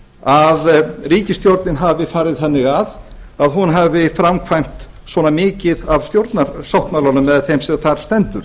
að ríkisstjórnin hafi farið þannig að hún hafi framkvæmt svona mikið af stjórnarmálanum eða því sem þar stendur